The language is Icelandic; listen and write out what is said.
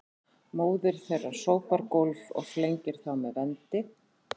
Móðir þeirra sópar gólf og flengir þá með vendi